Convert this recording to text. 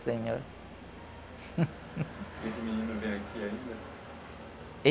senhor. Esse menino vem aqui ainda?